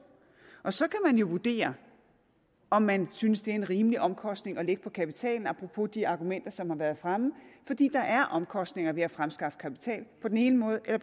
og så kan man jo vurdere om man synes det er en rimelig omkostning at lægge på kapitalen apropos de argumenter som har været fremme fordi der er omkostninger ved at fremskaffe kapital på den ene måde eller